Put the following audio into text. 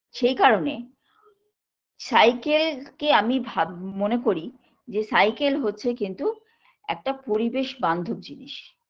সেই কারণে cycle -কে আমি ভাব মনে করি cycle হচ্ছে কিন্তু একটা পরিবেশ বান্ধব জিনিস